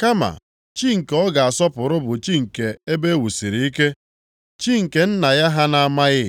Kama chi nke ọ ga-asọpụrụ bụ chi nke ebe e wusiri ike, chi nke nna ya ha na-amaghị.